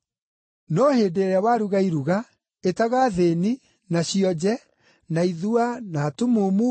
No hĩndĩ ĩrĩa waruga iruga ĩtaga athĩĩni, na cionje, na ithua, na atumumu,